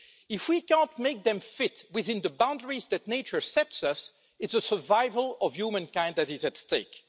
If we can't make them fit within the boundaries that nature sets us, it's the survival of humankind that is at stake.